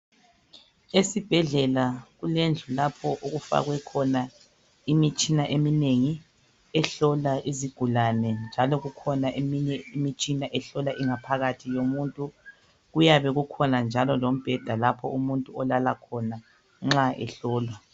Esibhedlela kulendlu lapho okufakwe khona imitshina eminengi ehlola izigulane njalo kukhona eminye imitshina ehlola ingaphakathi yomuntu kuyabe kukhona njalo lombheda lapho umuntu olala khona nxa ehlolwa.